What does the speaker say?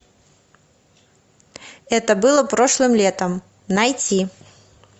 это было прошлым летом найти